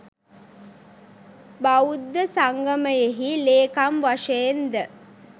බෞද්ධ සංගමයෙහි ලේකම් වශයෙන්ද